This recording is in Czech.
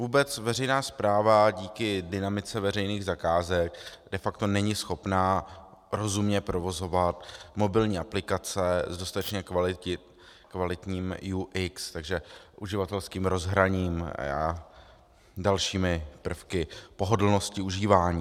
Vůbec veřejná správa díky dynamice veřejných zakázek de facto není schopna rozumně provozovat mobilní aplikace s dostatečně kvalitním UX, takže uživatelským rozhraním a dalšími prvky pohodlnosti užívání.